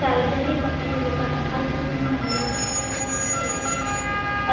सार्वजनिक कंपनीतील लोकांना भाग विकून भांडवल उभारणी करू शकते